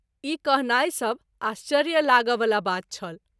ई कहनाई , सभ आश्चर्य लाग’ वला बात छल।